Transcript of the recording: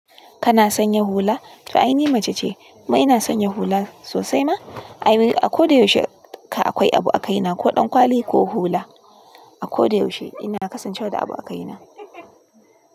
Kana sanya hula? To ai ni mace ce amma ina sanya hula sosai ma. A ko da yaushe ka akwai abu a kai na, ko ɗan kwali ko hula. A ko da yaushe ina kasancewa da abu a kai na.